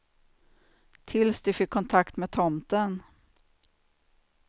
Tills de fick kontakt med tomten.